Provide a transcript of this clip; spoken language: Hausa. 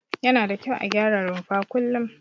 Yana da kyau a gyara rumfa kullum.